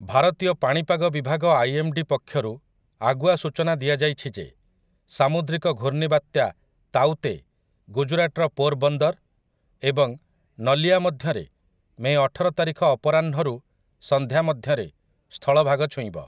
ଭାରତୀୟ ପାଣିପାଗ ବିଭାଗ ଆଇଏମ୍‌ଡି ପକ୍ଷରୁ ଆଗୁଆ ସୂଚନା ଦିଆଯାଇଛି ଯେ ସାମୁଦ୍ରିକ ଘୂର୍ଣ୍ଣିବାତ୍ୟା ତାଊ ତେ ଗୁଜରାଟର ପୋରବନ୍ଦର ଏବଂ ନଲିୟା ମଧ୍ୟରେ ମେ ଅଠର ତାରିଖ ଅପରାହ୍ନ ସନ୍ଧ୍ୟା ମଧ୍ୟରେ ସ୍ଥଳଭାଗ ଛୁଇଁବ ।